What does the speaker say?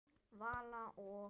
Vala og